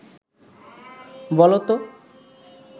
বলো ত